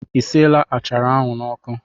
I siela achara ahụ n'ọkụ?